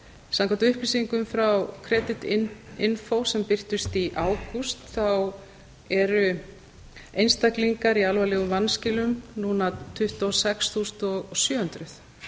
samkvæmt upplýsingum frá creditinfo sem birtust í ágúst eru einstaklingar í alvarlegum vanskilum núna tuttugu og sex þúsund sjö hundruð